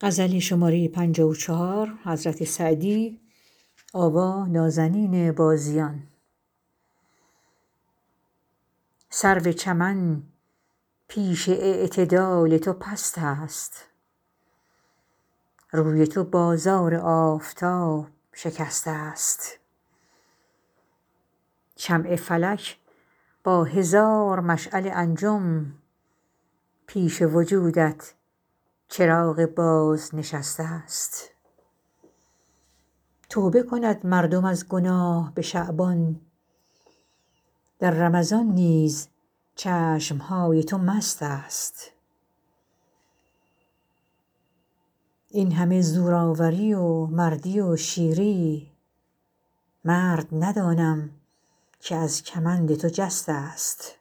سرو چمن پیش اعتدال تو پست است روی تو بازار آفتاب شکسته ست شمع فلک با هزار مشعل انجم پیش وجودت چراغ بازنشسته ست توبه کند مردم از گناه به شعبان در رمضان نیز چشم های تو مست است این همه زورآوری و مردی و شیری مرد ندانم که از کمند تو جسته ست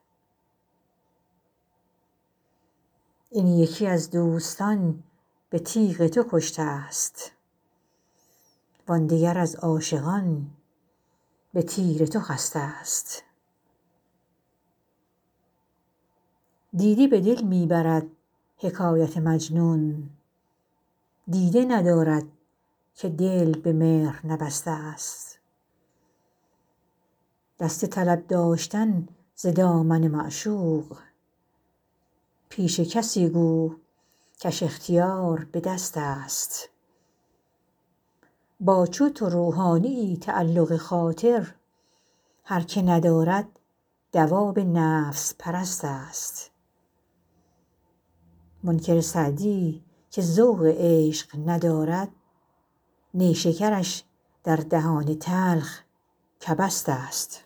این یکی از دوستان به تیغ تو کشته ست وان دگر از عاشقان به تیر تو خسته ست دیده به دل می برد حکایت مجنون دیده ندارد که دل به مهر نبسته ست دست طلب داشتن ز دامن معشوق پیش کسی گو کش اختیار به دست است با چو تو روحانیی تعلق خاطر هر که ندارد دواب نفس پرست است منکر سعدی که ذوق عشق ندارد نیشکرش در دهان تلخ کبست است